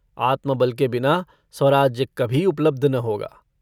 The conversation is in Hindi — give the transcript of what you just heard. आत्मबल के बिना स्वराज्य कभी उपलब्ध न होगा।